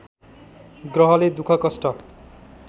ग्रहले दुख कष्ट